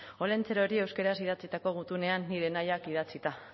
olentzerori euskaraz idatzitako gutunean nire nahiak idatzita